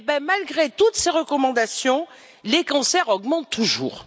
Malgré toutes ces recommandations, les cancers augmentent toujours.